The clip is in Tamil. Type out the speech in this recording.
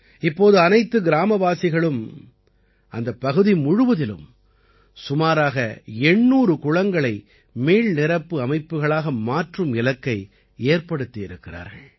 இப்போது அனைத்து கிராமவாசிகளும் அந்தப் பகுதி முழுவதிலும் சுமாராக 800 குளங்களை மீள்நிரப்பு அமைப்புக்களாக மாற்றும் இலக்கை ஏற்படுத்தியிருக்கிறார்கள்